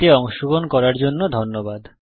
এতে অংশগ্রহন করার জন্য ধন্যবাদ